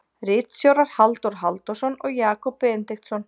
Ritstjórar Halldór Halldórsson og Jakob Benediktsson.